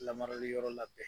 Lamarali yɔrɔ labɛn